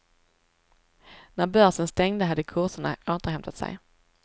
När börsen stängde hade kurserna återhämtat sig.